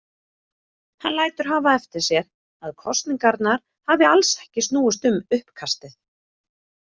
Hann lætur hafa eftir sér að kosningarnar hafi alls ekki snúist um uppkastið.